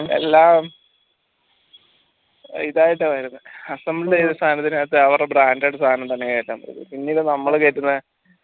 എല്ലാം ഇതായിട്ടാ വരുന്ന assemble ചെയ്താ സാധനത്തിനകത്ത് അവരടെ branded സാനം തന്നെ കേറ്റണ്ട വെരും പിന്നീട് നമ്മള് കേറ്റുന്ന